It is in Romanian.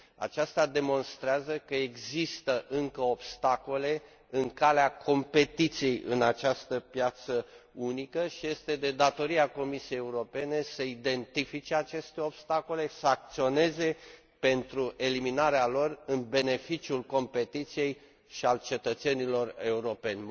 Aceasta demonstrează că există încă obstacole în calea competiției în această piață unică și este de datoria Comisiei Europene să identifice aceste obstacole, să acționeze pentru eliminarea lor în beneficiul competiției și al cetățenilor europeni.